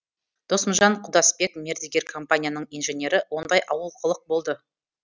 досымжан құдасбек мердігер компанияның инженері ондай олқылық болды